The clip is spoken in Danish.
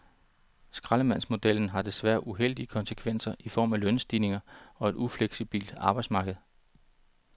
Skraldemandsmodellen har desværre uheldige konsekvenser i form af lønstigninger og et ufleksibelt arbejdsmarked.